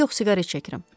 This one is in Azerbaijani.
Yox, siqaret çəkirəm.